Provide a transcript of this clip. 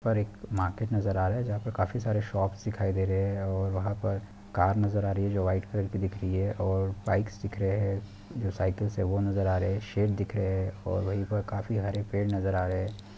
--पर एक मार्किट नजर आ रहा है जहाँ पर काफी सारे शॉप्स दिखाई दे रहे हैं और वहीं पर कार नजर आ रही है जो वाइट कलर की दिख रहे है और बाइक्स दिख रहे हैं जो साइकिल है वह नजर आ रहे हैं शेप दिख रहे हैं और वहीं पर काफी हरे पेड़ नजर आ रहे हैं।